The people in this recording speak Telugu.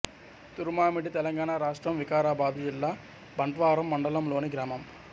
తురుమామిడి తెలంగాణ రాష్ట్రం వికారాబాదు జిల్లా బంట్వారం మండలంలోని గ్రామం